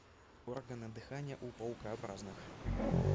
органы дыхания у паукообразных